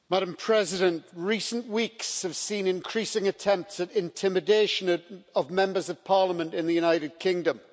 Madam President, recent weeks have seen increasing attempts at intimidation of Members of Parliament in the United Kingdom.